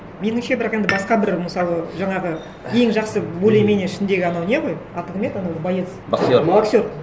меніңше бірақ енді басқа бір мысалы жаңағы ең жақсы более менее ішіндегі анау не ғой аты кім еді анау боец боксер боксер